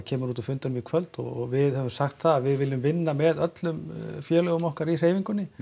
kemur út úr fundinum í kvöld og við höfum sagt það að við viljum vinna með öllum félögum okkar í hreyfingunni